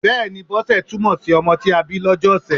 Bẹ́ẹ̀ni, Bọ́sẹ̀ túmọ̀ si ọmọ tí a bí lọ́jọ́ ọ̀sẹ̀.